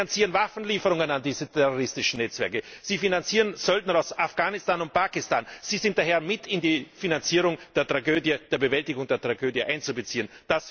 Sie finanzieren Waffenlieferungen an diese terroristischen Netzwerke, sie finanzieren Söldner aus Afghanistan und Pakistan, sie sind daher mit in die Finanzierung der Bewältigung dieser Tragödie einzubeziehen.